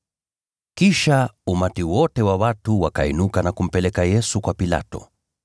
Kisha umati wote wa watu ukainuka na kumpeleka Yesu kwa Pilato.